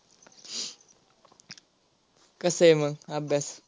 कस आहे मग अभ्यास.